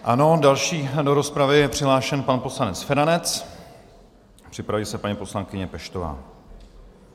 Ano, další do rozpravy je přihlášen pan poslanec Feranec, Připraví se paní poslankyně Peštová.